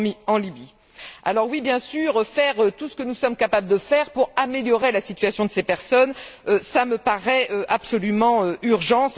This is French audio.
en Libye. Alors, oui, bien sûr, faire tout ce que nous sommes capables de faire pour améliorer la situation de ces personnes, cela me paraît absolument urgent.